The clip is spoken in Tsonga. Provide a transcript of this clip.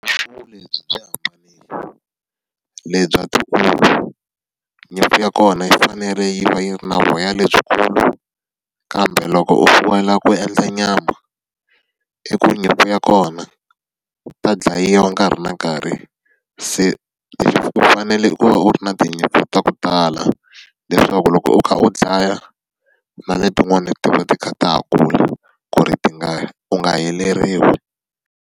Nyimpfu ya kona yi fanele yi va yi ri na voya lebyikulu, kambe loko u fuwela ku endla nyama, i ku nyimpfu ya kona yi ta dlayiwa nkarhi na nkarhi. Se u fanele u va u ri na tinyimpi ta ku tala. Leswaku loko u kha u dlaya, na letin'wana ti va ti kha ta ha kula ku ri ti nga u nga heleriwi.